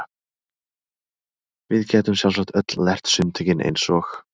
Við gætum sjálfsagt öll lært sundtökin eins og